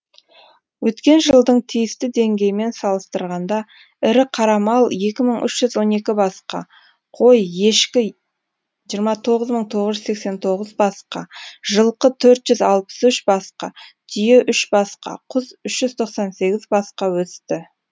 өткен жылдың тиісті деңгейімен салыстырғанда ірі қара мал екі мың үш жүз он екі басқа қой ешкі жиырма тоғыз мың тоғыз жүз сексен тоғыз басқа жылқы төрт жүз алпыс үш басқа түйе үш басқа құс үш жүз тоқсан сегіз басқа өсті